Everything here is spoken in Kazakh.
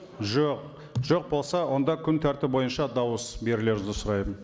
жоқ жоқ болса онда күн тәртібі бойынша дауыс берулеріңізді сұраймын